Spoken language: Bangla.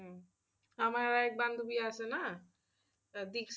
আমার এক বান্ধবী আছে না,